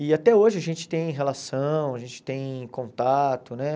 E até hoje a gente tem relação, a gente tem contato, né?